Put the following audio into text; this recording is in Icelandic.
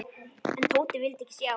En Tóti vildi ekki sjá.